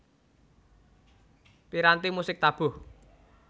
Piranti musik tabuh